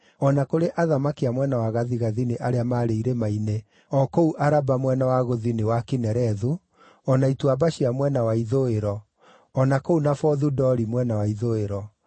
o na kũrĩ athamaki a mwena wa gathigathini arĩa maarĩ irĩma-inĩ, o kũu Araba mwena wa gũthini wa Kinerethu, o na ituamba cia mwena wa ithũĩro, o na kũu Nafothu-Dori mwena wa ithũĩro;